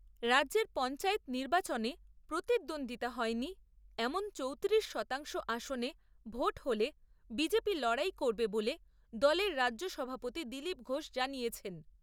রাজ্যের পঞ্চায়েত নির্বাচনে প্রতিদ্বন্দ্বিতা হয়নি এমন চৌতিরিশ শতাংশ আসনে ভোট হলে বিজেপি লড়াই করবে বলে দলের রাজ্য সভাপতি দিলীপ ঘোষ জানিয়েছেন।